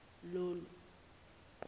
lolu